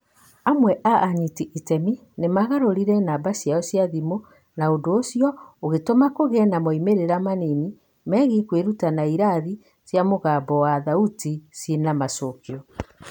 Amwe a anyiti iteme nĩ maagarũrire namba ciao cia thimũ, na ũndũ ũcio ũgĩtũma kũgĩe na moimĩrĩro manini megiĩ kwĩruta na irathi cia mũgambo wa thauti ciĩna-macokĩo.